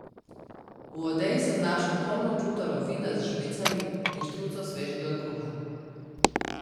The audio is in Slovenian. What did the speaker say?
V odeji sem našel polno čutaro vina z žbicami in štruco svežega kruha.